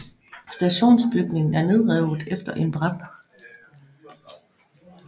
Stationsbygningen er nedrevet efter en brand